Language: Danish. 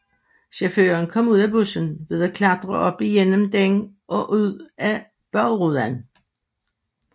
Chaufføren kom ud af bussen ved at klatre op igennem den og ud af bagruden